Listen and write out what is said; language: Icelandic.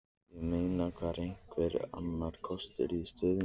Ég meina, var einhver annar kostur í stöðunni?